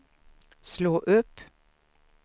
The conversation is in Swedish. slå upp